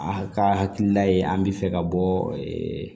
A ka hakilila ye an bɛ fɛ ka bɔ